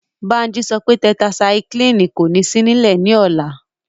Bánjí sọ pé tẹtaisaiklínì kò ní sí nílẹ̀ ní ọ̀la